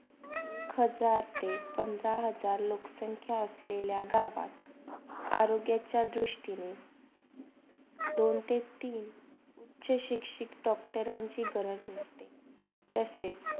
पंधरा हजार लोकसंख्या असलेला गावात. आरोग्याच्या दृष्टीनी दोन ते तीन उच्च उच्चे डॉक्टरांची गरज असते. तसेच